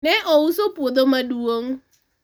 ne ouso pwodho maduong'